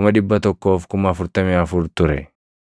144,000 ture.